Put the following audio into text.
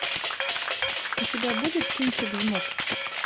у тебя будет кинчик жмот